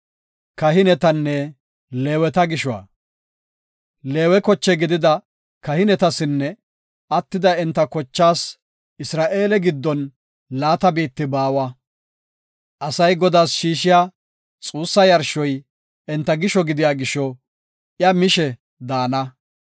Leewe koche gidida kahinetasinne attida enta kochaas Isra7eele giddon laata biitti baawa. Asay Godaas shiishiya xuussa yarshoy enta gisho gidiya gisho iya mishe daana.